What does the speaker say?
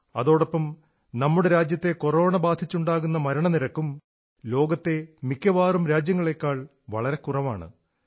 അതോടൊപ്പം നമ്മുടെ രാജ്യത്തെ കൊറോണ ബാധിച്ചുണ്ടാകുന്ന മരണനിരക്കും ലോകത്തെ മിക്കവാറും രാജ്യങ്ങളേക്കാൾ വളരെ കുറവാണ്